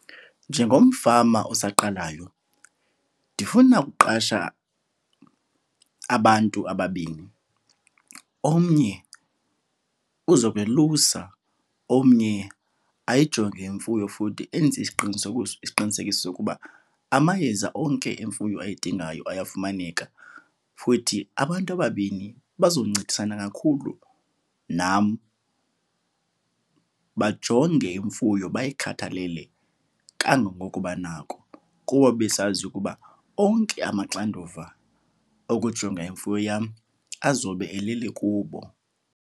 Njengomfama osaqalayo ndifuna ukuqasha abantu ababini. Omnye uzokwelusa, omnye ayijonge imfuyo futhi enze isiqinisekiso sokuba amayeza onke imfuyo ayidingayo ayafumaneka. Futhi abantu ababini bazoncedisana kakhulu nam bajonge imfuyo, bayikhathalele kangangoko banako kuba besazi ukuba onke amaxanduva okujonga imfuyo yam azobe eleli kubo.